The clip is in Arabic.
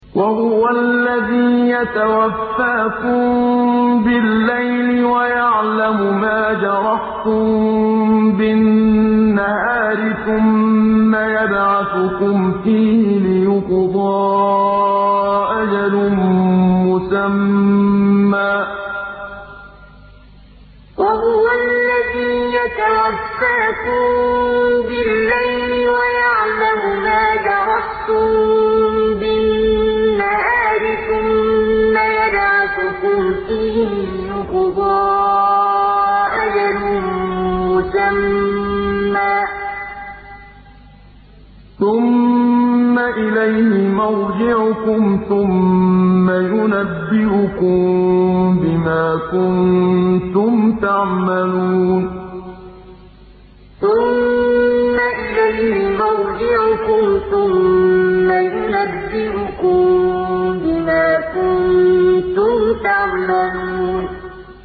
وَهُوَ الَّذِي يَتَوَفَّاكُم بِاللَّيْلِ وَيَعْلَمُ مَا جَرَحْتُم بِالنَّهَارِ ثُمَّ يَبْعَثُكُمْ فِيهِ لِيُقْضَىٰ أَجَلٌ مُّسَمًّى ۖ ثُمَّ إِلَيْهِ مَرْجِعُكُمْ ثُمَّ يُنَبِّئُكُم بِمَا كُنتُمْ تَعْمَلُونَ وَهُوَ الَّذِي يَتَوَفَّاكُم بِاللَّيْلِ وَيَعْلَمُ مَا جَرَحْتُم بِالنَّهَارِ ثُمَّ يَبْعَثُكُمْ فِيهِ لِيُقْضَىٰ أَجَلٌ مُّسَمًّى ۖ ثُمَّ إِلَيْهِ مَرْجِعُكُمْ ثُمَّ يُنَبِّئُكُم بِمَا كُنتُمْ تَعْمَلُونَ